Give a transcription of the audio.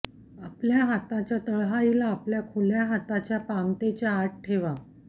आपल्या हाताच्या तळहाईला आपल्या खुल्या हातच्या पामतेच्या आत ठेवा